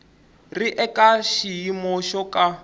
ri eka xiyimo xo ka